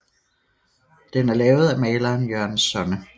Den er lavet af maleren Jørgen Sonne